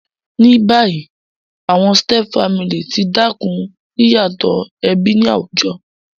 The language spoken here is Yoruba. Ní bayí, àwon stepfamily ti dákún yíyàtò ẹbí ni àwùjo